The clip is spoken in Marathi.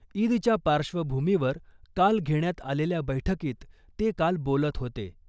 ईदच्या पार्श्वभूमीवर काल घेण्यात आलेल्या बैठकीत ते काल बोलत होते .